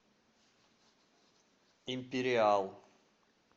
империал